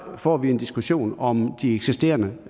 får vi en diskussion om de eksisterende